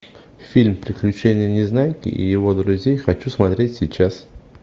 фильм приключения незнайки и его друзей хочу смотреть сейчас